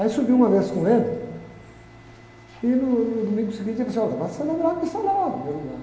Aí subi uma vez com ele, e no domingo seguinte ele falou assim, olha, vai celebrar a missa lá no meu lugar.